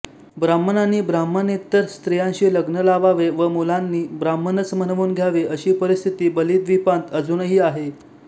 ब्राह्मणांनीं ब्राह्मणेतर स्त्रियांशीं लग्न लावावें व मुलांनीं ब्राह्मणच म्हणवून घ्यावें अशी परिस्थिति बलिद्वीपांत अजूनहि आहे